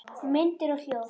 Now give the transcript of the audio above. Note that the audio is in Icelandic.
Myndir og hljóð